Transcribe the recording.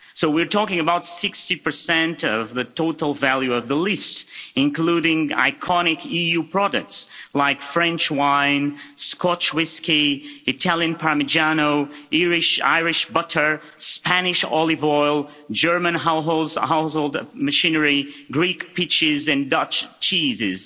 So we're talking about 60 of the total value of the list, including iconic EU products like French wine, Scotch whisky, Italian parmigiano, Irish butter, Spanish olive oil, German household machinery, Greek peaches and Dutch cheeses.